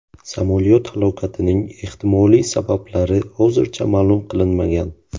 Samolyot halokatining ehtimoliy sabablari hozircha ma’lum qilinmagan.